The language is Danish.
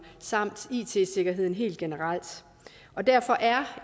samt it sikkerheden helt generelt og derfor er